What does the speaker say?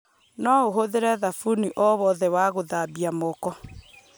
no ũhũthĩre thabuni o wothe ya gũthambia moko